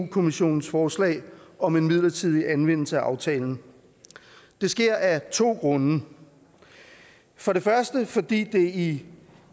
kommissionens forslag om en midlertidig anvendelse af aftalen det sker af to grunde for det første fordi det i